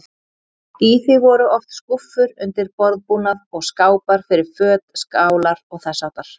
Í því voru oft skúffur undir borðbúnað og skápar fyrir föt, skálar og þess háttar.